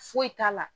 Foyi t'a la